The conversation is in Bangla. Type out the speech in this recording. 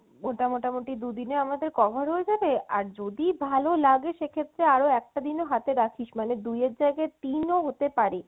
ওটা মোটামোটি দু দিনে আমাদের cover হয়ে যাবে আর যদি ভালো লাগে সেক্ষেত্রে আরো একটা দিনও হাতে রাখিস মানে দুইয়ের জায়গায় তিন ও হতে পারে